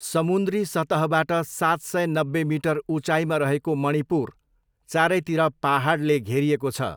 समुन्द्री सतहबाट सात सय नब्बे मिटर उचाइमा रहेको मणिपुर चारैतिर पाहाडले घेरिएको छ।